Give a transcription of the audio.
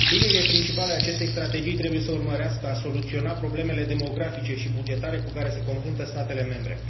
Liniile principale ale acestei strategii trebuie să urmărească soluționarea problemelor demografice și bugetare cu care se confruntă statele membre.